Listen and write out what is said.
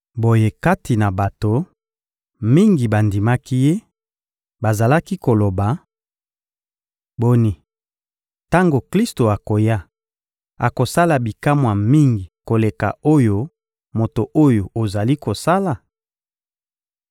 Boye kati na bato, mingi bandimaki Ye; bazalaki koloba: — Boni, tango Klisto akoya, akosala bikamwa mingi koleka oyo moto oyo ozali kosala?